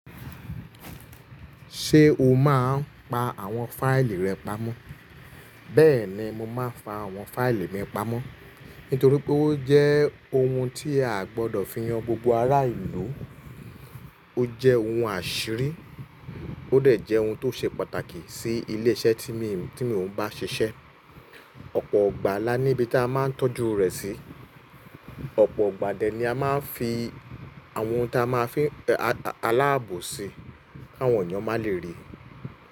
Ṣé o máa ń pa àwọn fáìlì rẹ pamọ́? Bẹ́ẹ̀ ni, mo máa ń fa àwọn fáìlì mi pamọ́. Nítorí pé ó jẹ́ ohun tí a gbọdọ̀ fi han gbogbo ará ìlú, ó jẹ́ ohun àṣírí, ó dẹ̀ jẹ́ ohun tó ṣe pàtàkì sí ilé iṣẹ́ tí mi ń, tí mi ò ń bá ṣiṣẹ́. Ọ̀pọ̀ igbà la ní ibi tí a máa ń tọ́jú rẹ̀ sí. Ọ̀pọ̀ igbà dẹ̀ ni a máa ń fi àwọn ohun tí a máa fín alábò sí kí àwọn ènìyàn má lè rí.